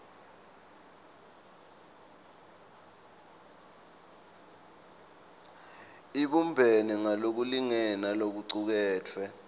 ibumbene ngalokulingene nalokucuketfwe